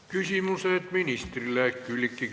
Küsimused ministrile.